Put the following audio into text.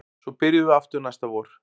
Svo byrjum við aftur næsta vor